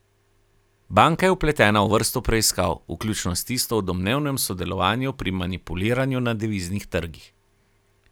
Banka je vpletena v vrsto preiskav, vključno s tisto o domnevnem sodelovanju pri manipuliranju na deviznih trgih.